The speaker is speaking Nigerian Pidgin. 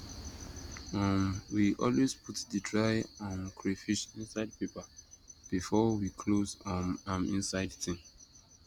um we always put the dry um crayfish inside paper before we close um am inside tin